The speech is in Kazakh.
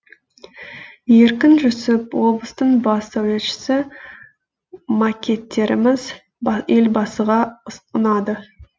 еркін жүсіп облыстың бас сәулетшісі макеттеріміз елбасыға ұнады